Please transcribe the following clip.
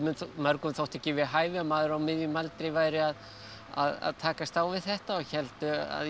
mörgum þótti ekki við hæfi að maður á miðjum aldri væri að að takast á við þetta og héldu að ég